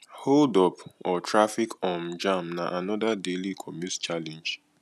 hold up or traffic um jam na another daily commute challenge